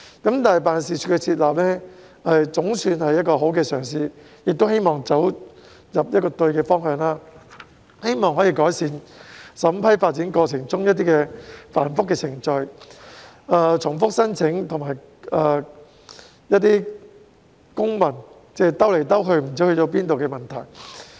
但是，辦事處的設立總算是好的嘗試，希望走對方向，可以改善審批發展過程中程序繁複、重複申請和公文旅行——即文件來來回回不知去向——的問題。